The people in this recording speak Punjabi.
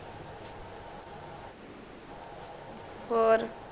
ਔਰ